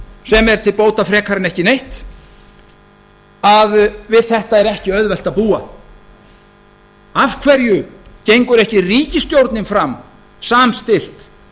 sem er til bóta frekar en ekki neitt að við þetta er ekki auðvelt að búa af hverju gengur ekki ríkisstjórnin fram samstillt